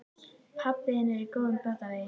Pabbi þinn er á góðum batavegi.